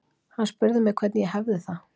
Hann spurði mig hvernig ég hefði það.